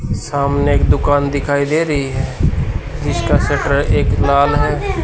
सामने एक दुकान दिखाई दे रहीं हैं जिसका शटर एक लाल हैं।